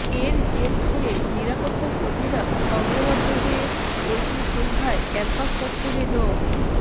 এর জের ধরে নিরাপত্তাকর্মীরা সংঘবদ্ধ হয়ে ওই দিন সন্ধ্যায় ক্যাম্পাস চত্বরে ড